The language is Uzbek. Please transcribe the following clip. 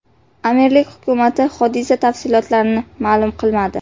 Amirlik hukumati hodisa tafsilotlarini ma’lum qilmadi.